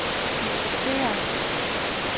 diskutere